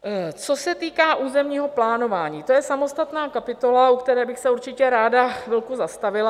Co se týká územního plánování, to je samostatná kapitola, u které bych se určitě ráda chvilku zastavila.